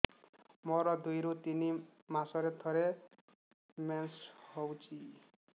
ମୋର ଦୁଇରୁ ତିନି ମାସରେ ଥରେ ମେନ୍ସ ହଉଚି